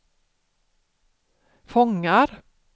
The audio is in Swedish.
fångar